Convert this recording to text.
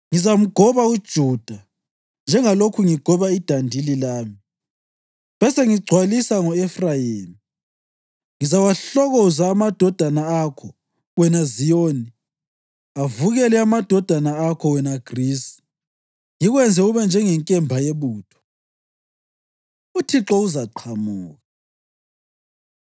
Ngizamgoba uJuda njengalokhu ngigoba idandili lami besengigcwalisa ngo-Efrayimi. Ngizawahlokoza amadodana akho, wena Ziyoni, avukele amadodana akho, wena Grisi, ngikwenze ube njengenkemba yebutho. UThixo Uzaqhamuka